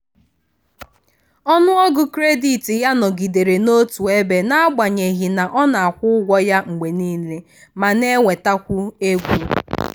ọnụọgụ kredit ya nọgidere n'otu ebe n'agbanyeghị na ọ na-akwụ ụgwọ ya mgbe niile ma na-enwetakwu ego.